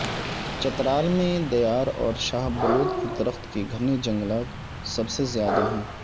چترال میں دیار اور شاہ بلوت کے درخت کے گھنے جنگلات سب سے زیادہ ہیں